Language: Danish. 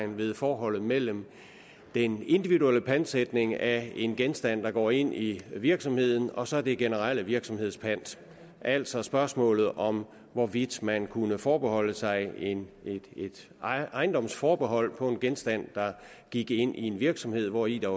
ved forholdet mellem den individuelle pantsætning af en genstand der går ind i en virksomhed og så den generelle virksomhedspant altså spørgsmålet om hvorvidt man kunne forbeholde sig et ejendomsforbehold på en genstand der gik ind i en virksomhed hvori der